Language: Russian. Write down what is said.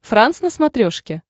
франс на смотрешке